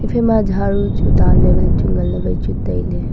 ephai ma jharu chu danley vai chu ngan ley vai chu tailey.